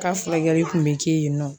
K'a furakɛli kun bɛ kɛ yen nɔ